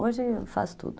Hoje eu faço tudo.